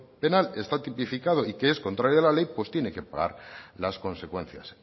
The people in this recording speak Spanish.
penal está tipificado y que es contrario a la ley pues tiene que pagar las consecuencias